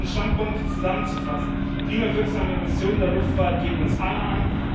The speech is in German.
Um meine Standpunkte zusammenzufassen Klimawirksame Emissionen der Luftfahrt gehen uns alle an.